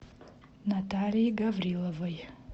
натальи гавриловой